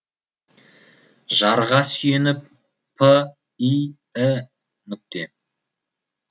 жарға сүйеніп п и і нүкте